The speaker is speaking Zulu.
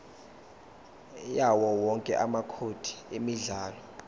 yawowonke amacode emidlalo